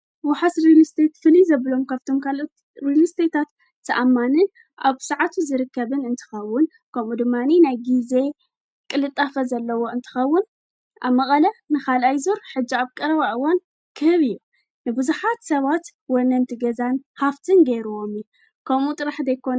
ውሓስ ርሉስተት ፍኒ ዘብሎም ካብቶም ካልእትርሉስተታት ተኣማንን ኣብ ሰዓቱ ዝርከብን እንተኻውን ከምኡ ድማኒ ናይ ጊዜ ቕልጣፈ ዘለዎ እንተኸውን ኣብ መቓለ ንኻል ኣይዙር ሕጅ ኣብ ቀረውኣዋን ክህብ እዩ ንብዙኃት ሰዋት ወነንቲ ገዛን ሃፍቲን ገይርዎም ከምኡ ጥራሕ ዶይኮን።